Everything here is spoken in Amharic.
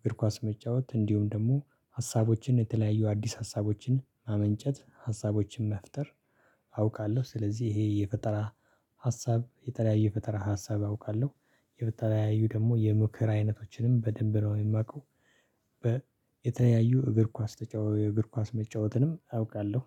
እግር ኳስ መጫወት እንዲሁም ደግሞ ሀሳቦችን የተለያዩ አዲስ ሀሳቦችን ማመንጨት ሀሳቦችን መፍጠር። አውቃለሁ ስለዚህ ይሄ የፈጠራ ሀሳብ የተለያየ ፈጠራ ሀሳብ አውቃለሁ። የተለያዩ ደግሞ የምክር አይነቶችንም በደንብ ነው የማውቀው። የተለያዩ እግር ኳስ ተጫዋች እግር ኳስ መጫወትንም አውቃለሁ።